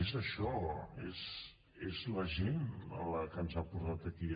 és això és la gent la que ens ha portat aquí